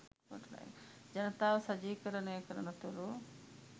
ජනතාව සජීවීකරණයකරනතුරු